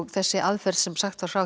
þessi aðferð sem sagt var frá